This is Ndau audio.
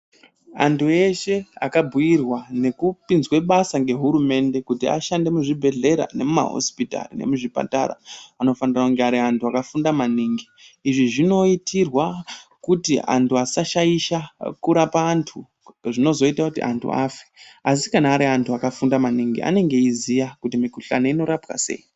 Antu eshe akabhuirwa nekupinzwa basa nehurumende kuti ashande muzvibhehlera nemuma hosipitari nemumazvipatara anofanira kunge ari anhu akafunda maningi izvi zvinoitirwa kuti antu asashaisa kurapa antu zvinozoita kuti antu afe asi kana ari antu akafunda maningi anenge eiziya kuti mikuhlani inorapwa sei.